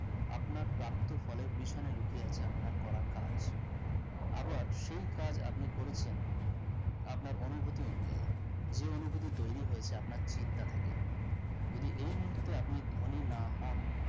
আপনার প্রাপ্ত ফলের পিছনে লুকিয়ে আছে আপনার করা কাজ আবার সেই কাজ আপনি করেছেন আপনার অনুভূতি অনুযায়ী যে অনুভূতি তৈরী হয়েছে আপনার চিন্তা থেকে যদি এই মুহূর্তে আপনি ধনী না হন